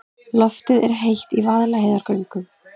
Loftið er heitt í Vaðlaheiðargöngum.